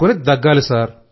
పెట్టుకుని దగ్గాలి